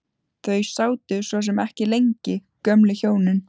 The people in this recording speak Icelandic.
Þau sátu svo sem ekki lengi gömlu hjónin.